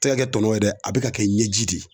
Tɛ ka kɛ tɔnɔ ye dɛ a bɛ ka kɛ ɲɛji de ye.